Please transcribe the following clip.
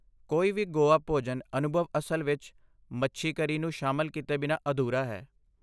ਕੋਈ ਵੀ ਗੋਆ ਭੋਜਨ ਅਨੁਭਵ ਅਸਲ ਵਿੱਚ, ਮੱਛੀ ਕਰੀ ਨੂੰ ਸ਼ਾਮਲ ਕੀਤੇ ਬਿਨਾਂ ਅਧੂਰਾ ਹੈ।